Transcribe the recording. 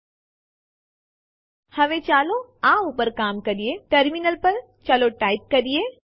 જો આપણે ય દબાવીએ અને પછી Enter દબાવીએ તો ફાઈલ ખરેખર ઓવરરાઇટ થઇ જશે